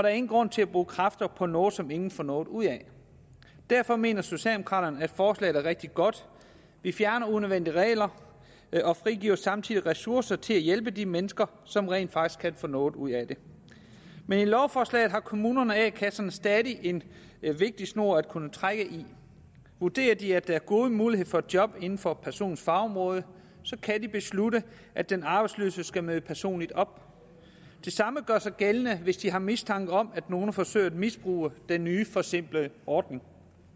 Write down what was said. er ingen grund til at bruge kræfter på noget som ingen får noget ud af derfor mener socialdemokraterne at forslaget er rigtig godt vi fjerner unødvendige regler og frigiver samtidig ressourcer til at hjælpe de mennesker som rent faktisk kan få noget ud af det med lovforslaget har kommunerne og a kasserne stadig en vigtig snor at kunne trække i vurderer de at der er gode muligheder for et job inden for personens fagområde kan de beslutte at den arbejdsløse skal møde personligt op det samme gør sig gældende hvis de har mistanke om at nogle forsøger at misbruge den nye forsimplede ordning